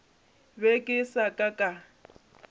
be ke sa ka ka